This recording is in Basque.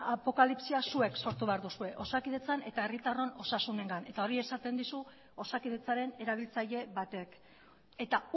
apokalipsia zuek sortu behar duzue osakidetzan eta herritarron osasunengan eta hori esaten dizu osakidetzaren erabiltzaile batek eta